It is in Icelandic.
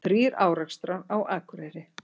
Þrír árekstrar á Akureyri